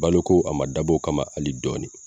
Balo ko a ma dab'o kama hali dɔɔnin.